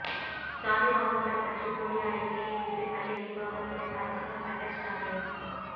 சாதி பாகுபாடு பற்றி போலி அறிக்கையை விட்டு பள்ளி நிர்வாகத்திடம் அசிங்கப்பட்ட ஸ்டாலின்